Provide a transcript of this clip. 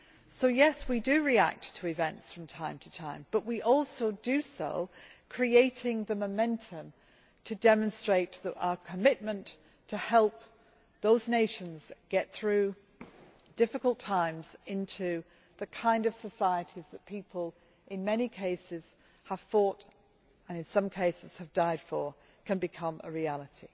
So, yes, we do react to events from time to time, but we also do so by creating the momentum to demonstrate our commitment to help those nations get through difficult times so that the kind of societies that people in many cases have fought for and in some cases have died for can become a reality.